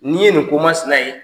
N'i ye nin komasina ye